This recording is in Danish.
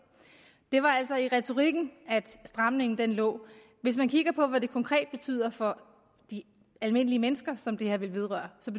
det var altså i retorikken at stramningen lå hvis man kigger på hvad det konkret betyder for de almindelige mennesker som det her vedrører så